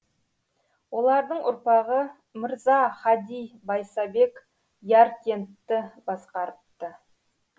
олардың ұрпағы мырза хади байсабек яркентті басқарыпты